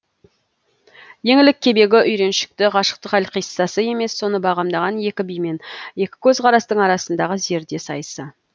еңлік кебегі үйреншікті ғашықтық әлқиссасы емес соны бағамдаған екі би мен екі көзқарастың арасындағы зерде сайысы